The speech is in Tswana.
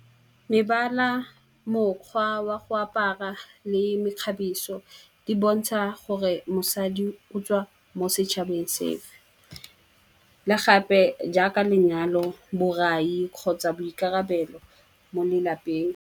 Mebala, mokgwa wa go apara le mekgabiso di bontsha gore mosadi o tswa mo setšhabeng sefe, le gape jaaka lenyalo borai kgotsa boikarabelo mo lelapeng.